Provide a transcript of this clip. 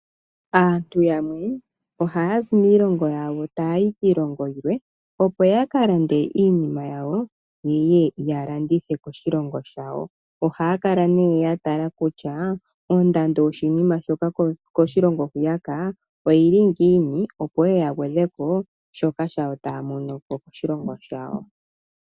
Aantu yamwe ohaazi kiilongo yimwe yuuka kiilongo yilwe opo ya ka lande iinima yawo yeye ya landithe koshilongo shawo ohaa kala nee ya tala kutya oondando yoshinima shoka koshilongo hwiya oyili ngiini opo yeye ya gwedhe ko shoka taya mono koshilongo shawo.